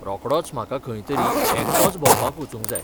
रोखडोच म्हाका खंय तरी एकटोच भोंवपाक वचूंक जाय .